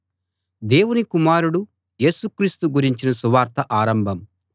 దేవుని కుమారుడు యేసు క్రీస్తు గురించిన సువార్త ఆరంభం